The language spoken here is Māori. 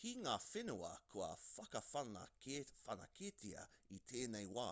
ki ngā whenua kua whakawhanaketia i tēnei wā